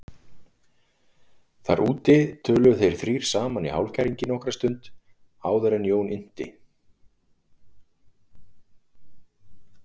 Þar úti töluðu þeir þrír saman í hálfkæringi nokkra stund áður en Jón innti